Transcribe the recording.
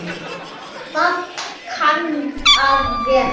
Það kann að vera